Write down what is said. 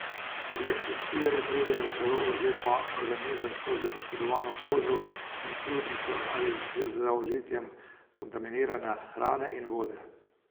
Leptospire pridejo v telo oziroma organizem skozi poškodovano kožo in sluznico ali z zaužitjem kontaminirane hrane in vode.